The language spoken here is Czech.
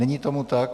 Není tomu tak.